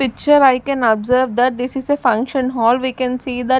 picture I can observe that this is a function hall we can see that --